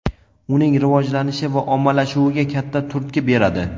uning rivojlanishi va ommalashuviga katta turtki beradi.